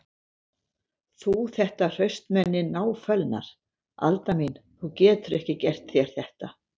Þú þetta hraustmenni náfölnar: Alda mín, þú getur ekki gert þér þetta.